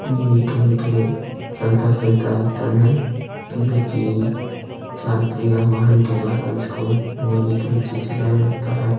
ये कहीं के चलता-फिरता हॉटल है यानि कि चार पहिया वाहन के द्वारा इसको नियमित रूप से चलाया जाता है।